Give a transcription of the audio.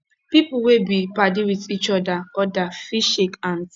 pipo wey be padi with each oda oda fit shake hands